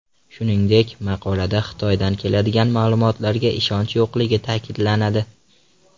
Shuningdek, maqolada Xitoydan keladigan ma’lumotlarga ishonch yo‘qligi ta’kidlanadi.